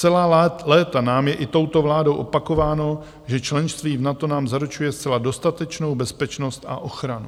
Celá léta nám je i touto vládou opakováno, že členství v NATO nám zaručuje zcela dostatečnou bezpečnost a ochranu.